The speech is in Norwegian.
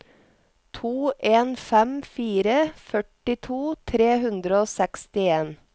to en fem fire førtito tre hundre og sekstien